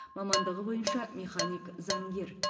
мамандығы бойынша механик заңгер